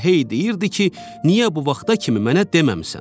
elə hey deyirdi ki, niyə bu vaxta kimi mənə deməmisən?